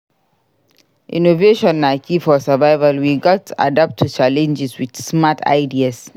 Innovation na key for survival; we gats adapt to challenges with smart ideas.